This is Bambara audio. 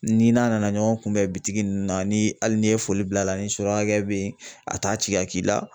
Ni n'a nana ɲɔgɔn kunbɛn bitigi nunnu na ni hali n'i ye foli bil'a la ni surakakɛ bɛ yen a t'a ci ka k'i la.